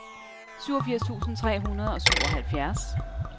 syvogfirs tusind tre hundrede og syvoghalvfjerds